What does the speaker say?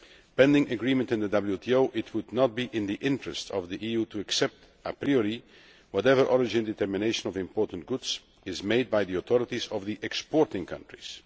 Pending agreement in the WTO, it would not be in the interest of the EU to accept, a priori, whatever origin determination of imported goods is made by the authorities of the exporting countries.